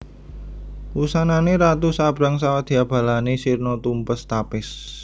Wusanane ratu sabrang sawadyabalane sirna tumpes tapis